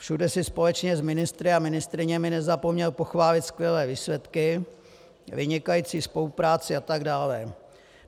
Všude si společně s ministry a ministryněmi nezapomněl pochválit skvělé výsledky, vynikající spolupráci atd.